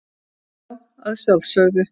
Já, að sjálfsögðu.